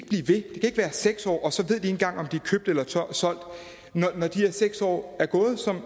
ikke være seks år og så ved engang om de er købt eller solgt når de her seks år er gået som